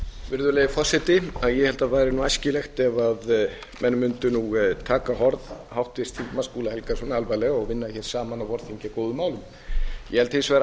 virðulegi forseti ég held að væri nú æskilegt ef menn mundu nú taka orð háttvirts þingmanns skúla helgasonar alvarlega og vinna hér saman á vorþingi að góðum málum ég held hins vegar að